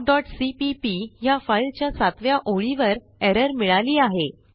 talkसीपीपी ह्या फाईलच्या सातव्या ओळीवर एरर मिळाली आहे